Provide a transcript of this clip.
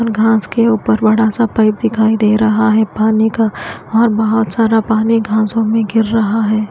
घांस के ऊपर बड़ा सा पाइप दिखाई दे रहा है पानी का और बहोत सारा पानी घासों में गिर रहा है।